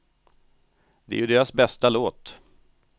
Det är ju deras bästa låt.